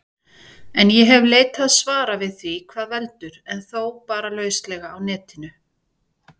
En ég hef leitað svara við því hvað veldur, en þó bara lauslega á Netinu.